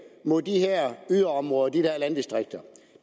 mod de her yderområder de her landdistrikter